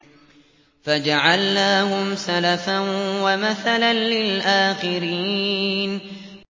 فَجَعَلْنَاهُمْ سَلَفًا وَمَثَلًا لِّلْآخِرِينَ